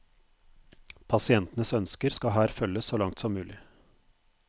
Pasientenes ønsker skal her følges så langt som mulig.